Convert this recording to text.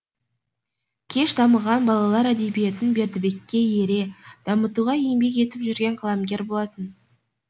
кеш дамыған балалар әдебиетін бердібекке ере дамытуға еңбек етіп жүрген қаламгер болатын